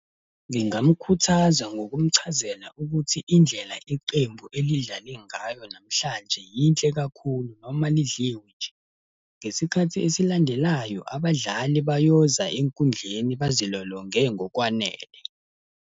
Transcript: Ngingamkhuthaza ngokumchazela ukuthi indlela iqembu elidlale ngayo namhlanje yinhle kakhulu noma lidliwe nje. Ngesikhathi esilandelayo abadlali bayoza enkundleni bazilolonge ngokwanele.